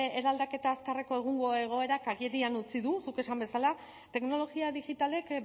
eraldaketa azkarreko egungo egoerak agerian utzi du zuk esan bezala teknologia digitalek